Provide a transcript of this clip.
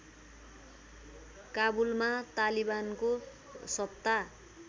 काबुलमा तालिबानको सत्ता